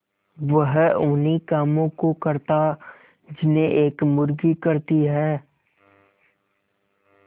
वह उन्ही कामों को करता जिन्हें एक मुर्गी करती है